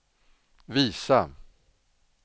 visa